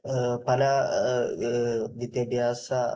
പല വിദ്യാഭ്യാസ